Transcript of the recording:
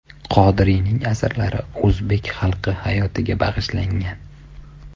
Qodiriyning asarlari o‘zbek xalqi hayotiga bag‘ishlangan.